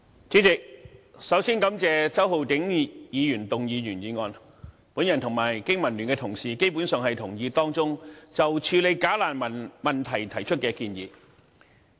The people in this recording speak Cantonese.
主席，首先感謝周浩鼎議員動議原議案，我和香港經濟民生聯盟的同事基本上同意當中就處理"假難民"問題所提出的建議。